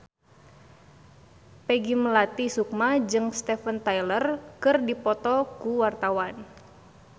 Peggy Melati Sukma jeung Steven Tyler keur dipoto ku wartawan